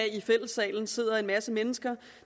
sidder en masse mennesker